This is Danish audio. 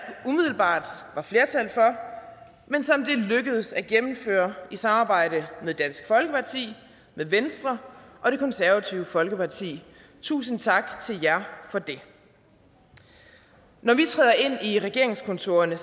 umiddelbart var flertal for men som det er lykkedes at gennemføre i samarbejde med dansk folkeparti venstre og det konservative folkeparti tusind tak til jer for det når vi træder ind i regeringskontorerne